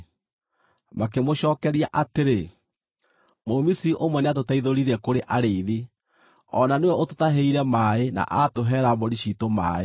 Makĩmũcookeria atĩrĩ, “Mũmisiri ũmwe nĩatũteithũrire kũrĩ arĩithi; o na nĩwe ũtũtahĩire maaĩ na atũheera mbũri ciitũ maaĩ.”